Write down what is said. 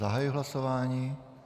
Zahajuji hlasování.